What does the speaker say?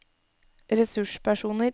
ressurspersoner